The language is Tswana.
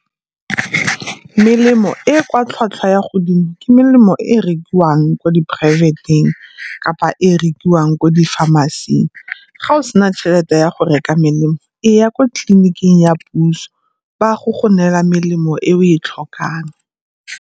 Melemo e e kwa tlhwatlhwa ya godimo ke melemo e rekiwang ko di poraefeteng kapa e e rekiwang ko di-pharmacy-ing. Ga o sena tšhelete ya go reka melemo, e ya kwa tleliniking ya puso, ba ya go go neela melemo e o e tlhokang.